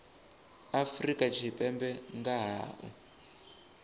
afrika tshipembe nga ha u